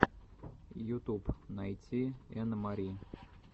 ютуб найти энн мари